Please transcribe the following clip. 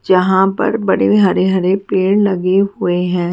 जहां पर बड़े हरे हरे पेड़ लगे हुए है।